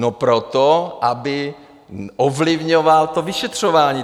No proto, aby ovlivňoval to vyšetřování.